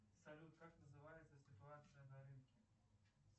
салют как называется ситуация на рынке